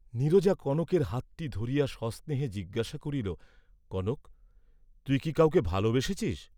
নীরজা কনকের হাতটি ধরিয়া সস্নেহে জিজ্ঞাসা করিল কনক তুই কি কাউকে ভালবেসেছিস?